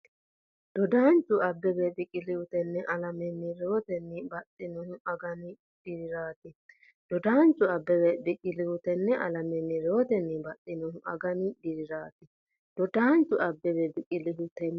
Dodaanchu Abbebe Biqilihu tenne alamenni rewootenni baxxinohu agani diriraati Dodaanchu Abbebe Biqilihu tenne alamenni rewootenni baxxinohu agani diriraati Dodaanchu Abbebe Biqilihu tenne.